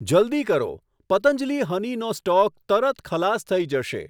જલદી કરો, પતંજલિ હનીનો સ્ટોક તરત ખલાસ થઈ જશે.